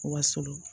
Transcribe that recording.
Wa surun